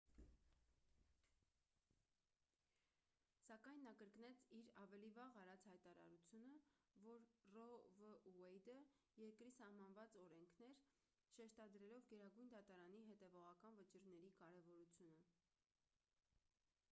սակայն նա կրկնեց իր ավելի վաղ արած հայտարարությունը որ ռո վ ուեյդը երկրի սահմանված օրենքն էր շեշտադրելով գերագույն դատարանի հետևողական վճիռների կարևորությունը